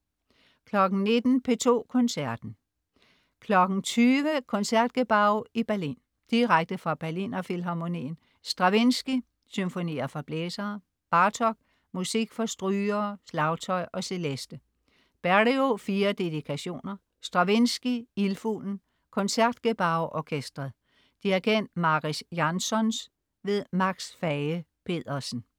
19.00 P2 Koncerten. 20.00 Concertgebouw i Berlin. Direkte fra Berliner Filharmonien. Stravinskij: Symfonier for blæsere. Bartók: Musik for strygere, slagtøj og celeste. Berio: Fire dedikationer. Stravinskij: Ildfuglen. Concertgebouw Orkestret. Dirigent: Mariss Jansons. Max Fage-Pedersen